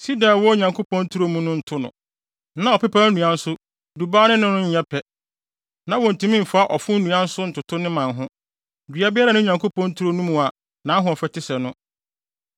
Sida a ɛwɔ Onyankopɔn turo mu nto no, na ɔpepaw nnua nso dubaa ne no nyɛ pɛ, na wontumi mfa ɔfo nnua nso ntoto ne mman ho, dua biara nni Onyankopɔn turo no mu a nʼahoɔfɛ te sɛ no.